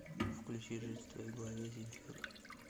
включи жить в твоей голове земфиры